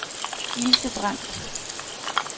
Ilse Brandt